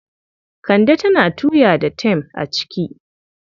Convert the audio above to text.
Kande tana tuya da tem a ciki.